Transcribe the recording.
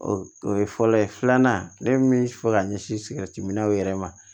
O ye fɔlɔ ye filanan ne min fɔ ka ɲɛsin sigɛriti minaw yɛrɛ ma